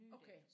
Okay